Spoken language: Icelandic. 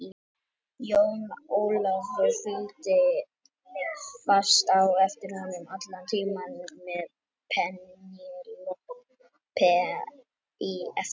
Jón Ólafur fylgdi fast á eftir honum allan tímann með Penélope í eftirdragi.